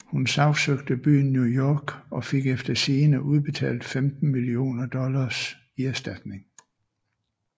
Hun sagsøgte byen New York og fik efter sigende udbetalt 15 millioner dollars i erstatning